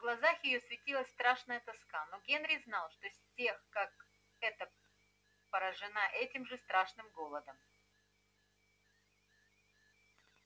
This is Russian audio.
в глазах её светилась страшная тоска но генри знал что с тех как эта порожена этим же страшным голодом